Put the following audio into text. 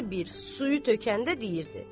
Hər bir suyu tökəndə deyirdi.